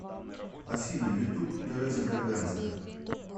афина ютуб тереза берганза